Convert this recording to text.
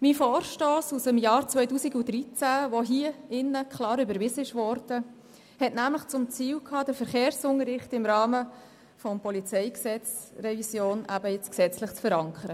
Mein Vorstoss aus dem Jahr 2013, der vom Rat klar überwiesen worden war, hatte nämlich zum Ziel, den Verkehrsunterricht im Rahmen der PolG-Revision gesetzlich zu verankern.